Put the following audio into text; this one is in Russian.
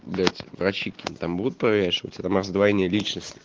блять врачи какие-то там будут проверять что у тебя там раздвоение личности